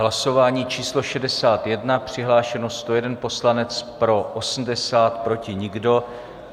Hlasování číslo 61, přihlášeno 101 poslanec, pro 80, proti nikdo.